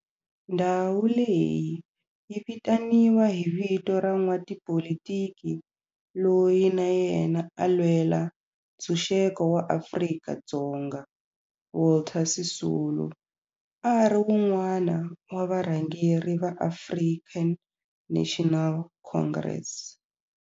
Ndhawu leyi yi vitaniwa hi vito ra n'watipolitiki loyi na yena a lwela ntshuxeko wa maAfrika-Dzonga Walter Sisulu, a ri wun'wana wa varhangeri va African National Congress.